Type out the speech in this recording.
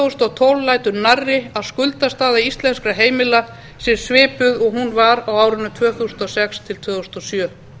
þúsund og tólf lætur nærri að skuldastaða íslenskra heimila sé svipuð og hún var á árunum tvö þúsund og sex til tvö þúsund og sjö